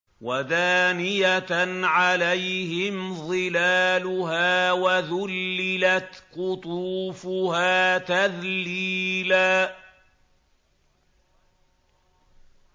وَدَانِيَةً عَلَيْهِمْ ظِلَالُهَا وَذُلِّلَتْ قُطُوفُهَا تَذْلِيلًا